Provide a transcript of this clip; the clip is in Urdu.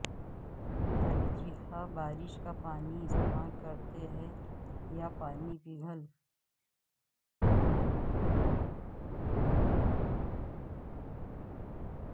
ترجیحا بارش کا پانی استعمال کرتے ہیں یا پانی پگھل